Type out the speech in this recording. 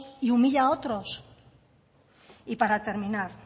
y humilla a otros y para terminar